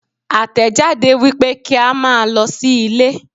Àtẹ̀jáde wípé kí a máa lọ sí ilé.